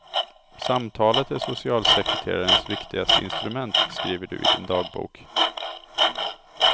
Samtalet är socialsekreterarens viktigaste instrument, skriver du i din dagbok.